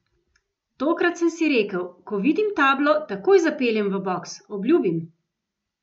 Tokrat sem si rekel: 'Ko vidim tablo, takoj zapeljem v boks, obljubim'.